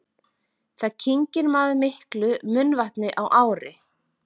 Hvað kyngir maður miklu munnvatni á ári?